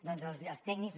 doncs els tècnics